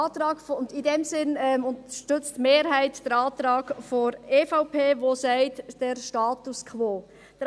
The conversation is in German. In diesem Sinn unterstützt die Mehrheit den Antrag der EVP, welcher den Status quo will.